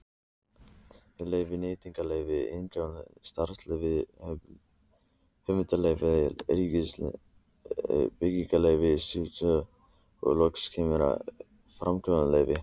Þessi leyfi eru nýtingarleyfi iðnaðarráðherra, starfsleyfi Hollustuverndar ríkisins, byggingarleyfi Skútustaðahrepps og loks framkvæmdaleyfi.